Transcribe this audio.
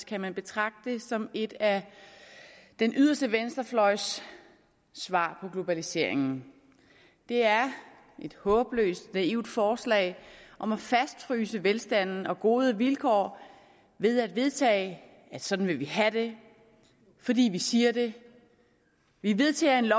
kan man betragte som et af den yderste venstrefløjs svar på globaliseringen det er et håbløst naivt forslag om at fastfryse velstanden og gode vilkår ved at vedtage at sådan vil vi have det fordi vi siger det vi vedtager en